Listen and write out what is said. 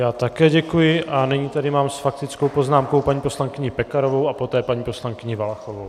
Já také děkuji a nyní tady mám s faktickou poznámkou paní poslankyni Pekarovou a poté paní poslankyni Valachovou.